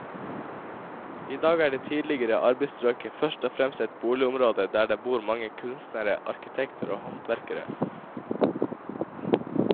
I dag er det tidligere arbeiderstrøket først og fremst et boligområde der det bor mange kunstnere, arkitekter og håndverkere.